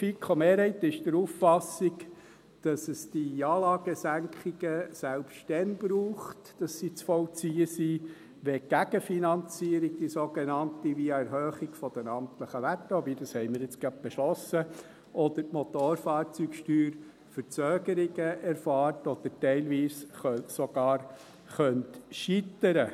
Die FiKo-Mehrheit ist der Auffassung, dass es die Anlagensenkungen selbst dann braucht – dass sie zu vollziehen sind –, wenn die sogenannte Gegenfinanzierung via Erhöhung der amtlichen Werte – wobei wir dies gerade beschlossen haben – oder die Motorfahrzeugsteuer Verzögerungen erfahren oder teilweise sogar scheitern könnten.